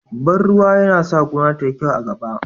Ban ruwa yana sa gona tayi kyau a gaba